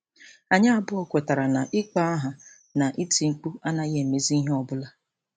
Anyị abụọ kwetara na ịkpọ aha na iti mkpu anaghị emezi ihe ọ bụla.